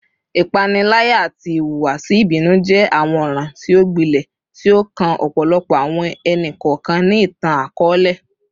Ipanilaya ati ihuwasi ibinu jẹ awọn ọran ti o gbilẹ ti o kan ọpọlọpọ awọn ẹni-kọọkan ni itan-akọọlẹ